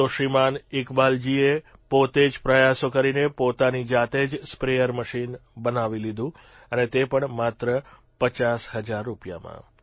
તો શ્રીમાન ઇકબાલજીએ પોતે જ પ્રયાસો કરીને પોતાની જાતે જ સ્પ્રેયર મશીન બનાવી લીધું અને તે પણ માત્ર 50 હજાર રૂપિયામાં